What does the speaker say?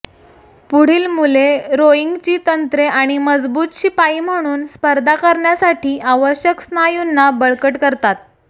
पुढील मुले रोईंगची तंत्रे आणि मजबूत शिपाई म्हणून स्पर्धा करण्यासाठी आवश्यक स्नायूंना बळकट करतात